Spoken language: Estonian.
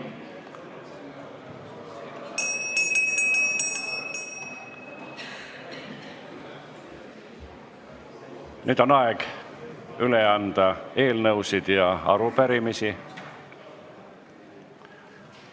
Nüüd on aeg üle anda eelnõusid ja arupärimisi.